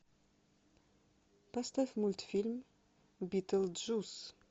поставь мультфильм битлджус